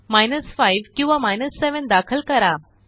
minus 5 किंवा 7 दाखल करा